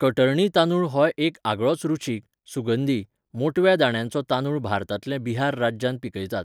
कटर्णी तांदूळ हो एक आगळोच रुचीक, सुगंधी, मोटव्या दाण्यांचो तांदूळ भारतांतल्या बिहार राज्यांत पिकयतात.